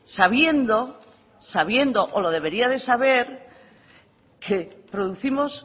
sabiendo sabiendo o lo debería de saber que producimos